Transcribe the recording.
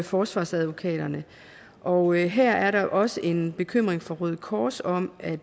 forsvarsadvokater og her er der også en bekymring fra røde kors om at